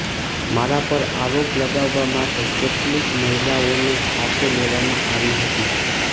મારા પર આરોપ લગાવવા માટે કેટલીક મહિલાઓને સાથે લેવામાં આવી હતી